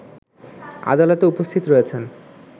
আদালতে উপস্থিত রয়েছেন